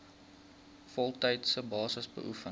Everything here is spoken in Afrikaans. voltydse basis beoefen